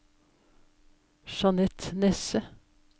Jeanette Nesse